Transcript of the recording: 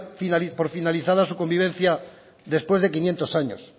dar por finalizada su convivencia después de quinientos años